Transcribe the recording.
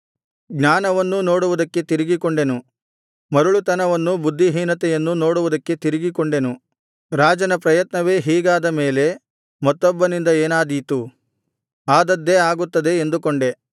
ಜ್ಞಾನವನ್ನೂ ನೋಡುವುದಕ್ಕೆ ತಿರುಗಿಕೊಂಡೆನು ಮರುಳುತನವನ್ನೂ ಬುದ್ಧಿಹೀನತೆಯನ್ನೂ ನೋಡುವುದಕ್ಕೆ ತಿರುಗಿಕೊಂಡೆನು ರಾಜನ ಪ್ರಯತ್ನವೇ ಹೀಗಾದ ಮೇಲೆ ಮತ್ತೊಬ್ಬನಿಂದ ಏನಾದೀತು ಆದದ್ದೇ ಆಗುತ್ತದೆ ಎಂದುಕೊಂಡೆ